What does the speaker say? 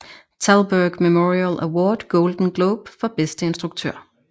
Thalberg Memorial Award Golden Globe for bedste instruktør